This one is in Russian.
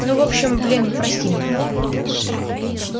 ну в общем блин прости меня